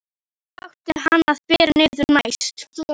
Hvar átti hann að bera niður næst?